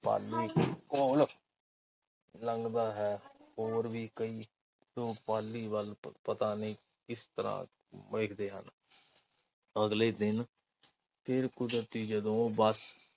ਪਾਲੀ ਦੇ ਲੰਘਦਾ ਹੈ। ਹੋਰ ਵੀ ਕਈ, ਪਾਲੀ ਵੱਲ ਪਤਾ ਨਹੀਂ ਕਿਸ ਤਰ੍ਹਾਂ ਵੇਖਦੇ ਹਨ। ਅਗਲੇ ਦਿਨ ਫਿਰ ਕੁਦਰਤੀ ਜਦੋਂ ਉਹ ਬੱਸ